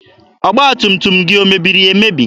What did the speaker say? Ọgba tum tum gị omebiri emebi?